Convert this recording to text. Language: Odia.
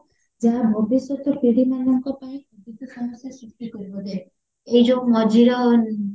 ଯାହା ଭବିଷ୍ୟତ ପିଢୀମାନଙ୍କ ପାଇଁ ସମସ୍ୟା ସୃଷ୍ଟି କରିବା ଦେଖ ଏଇ ଯୋଉ ମଝିର